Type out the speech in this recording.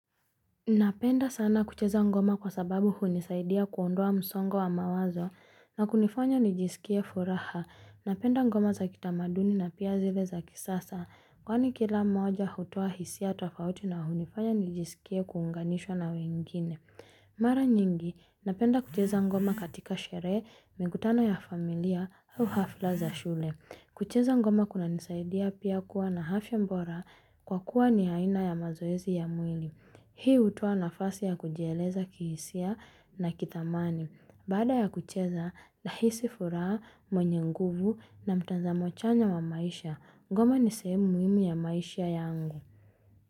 Napenda sana kucheza ngoma kwa sababu hunisaidia kuondoa msongo wa mawazo na kunifanya nijisikie furaha. Napenda ngoma za kitamaduni na pia zile za kisasa, kwani kila moja hutoa hisia tofauti na hunifanya nijisikie kuunganishwa na wengine. Mara nyingi napenda kucheza ngoma katika sherehe, mikutano ya familia au ghafla za shule. Kucheza ngoma kunanisaidia pia kuwa na afya bora kwa kuwa ni aina ya mazoezi ya mwili hii hutoa nafasi ya kujieleza kihisia na kithamani Baada ya kucheza, nahisi furaha mwenye nguvu na mtazamo chanya wa maisha ngoma ni sehemu muhimu ya maisha yangu.